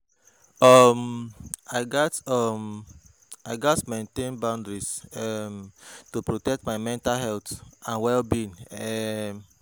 um I gats um I gats maintain boundaries um to protect my mental health and well-being. um